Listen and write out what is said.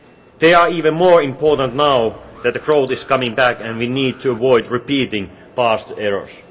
They are even more important now that growth is coming back and we need to avoid repeating past errors.